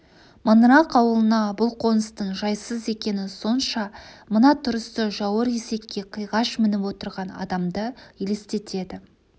маңырақ ауылына бұл қоныстың жайсыз екені сонша мына тұрысы жауыр есекке қиғаш мініп отырған адамды елестетеді